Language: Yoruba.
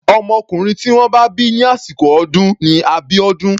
Ọmọkùnrin tí wọ́n bá bí ní àsìkò ọdún ni Abiodun.